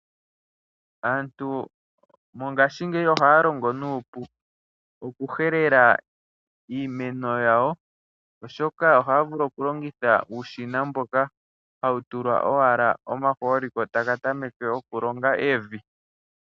Aantu mongaashi ngeyi ohaya longo nupu oku helela iimeno yawo oshoka ohaya vulu okulongotha uushina mboka hawu tulwa owala omaholi ko taka tameke oku longa evi.